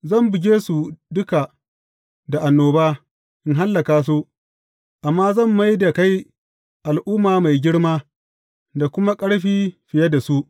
Zan buge su duka da annoba, in hallaka su, amma zan mai da kai al’umma mai girma, da kuma ƙarfi fiye da su.